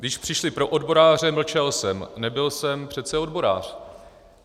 Když přišli pro odboráře, mlčel jsem, nebyl jsem přece odborář.